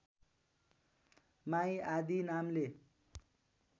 my आदी नामले